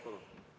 Palun!